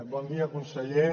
bon dia conseller